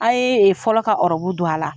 A' ye fɔlɔ ka don a la.